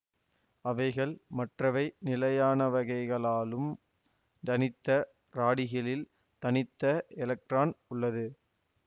அவைகள் மற்றவை நிலையானவைகளாகும் தனித்த ராடிகிலில் தனித்த எலக்ட்ரான் உள்ளது